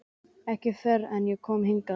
Ekki fyrr en ég kom hingað.